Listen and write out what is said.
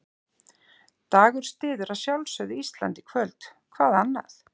Dagur styður að sjálfsögðu Ísland í kvöld, hvað annað?